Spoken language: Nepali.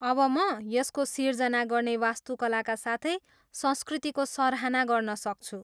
अब म यसको सिर्जना गर्ने वास्तुकलाका साथै संस्कृतिको सराहना गर्न सक्छु।